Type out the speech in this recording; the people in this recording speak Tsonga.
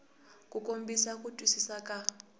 ku kombisa ku twisisa ka